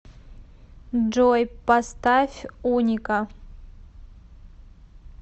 джой поставь уника